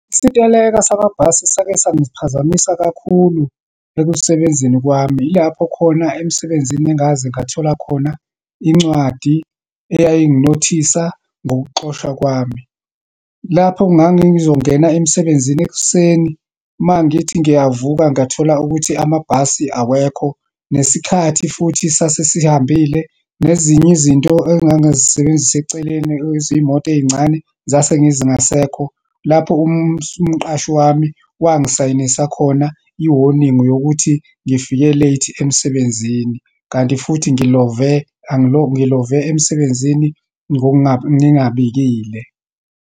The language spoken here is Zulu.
Isiteleka samabhasi sake sangiphazamisa kakhulu ekusebenzeni kwami. Ilapho khona emsebenzini engaze ngathola khona incwadi eyayinginothisa ngokuxoshwa kwami. Lapho ngangizongena emsebenzini ekuseni, uma ngithi ngiyavuka ngathola ukuthi amabhasi awekho, nesikhathi futhi sasesihambile, nezinye izinto engangazisebenzisa eceleni yezimoto eyincane zasengizingasekho. Lapho umqashi wami wangisayinisa khona i-warning yokuthi ngifike late emsebenzini, kanti futhi ngilove, ngilove emsebenzini ngoku nga ngingabikile.